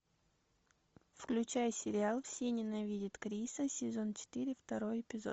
включай сериал все ненавидят криса сезон четыре второй эпизод